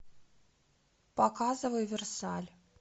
показывай версаль